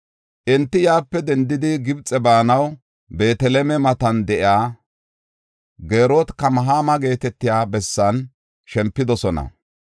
Enti yaape dendidi, Gibxe baanaw, Beeteleme matan de7iya Gerot-Kamahama geetetiya bessan shempidosona.